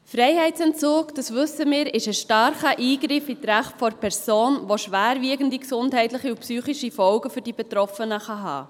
Freiheitsentzug, das wissen wir, ist ein starker Eingriff in die Rechte der Person, und sie kann schwerwiegende gesundheitliche und psychische Folgen für die Betroffenen haben.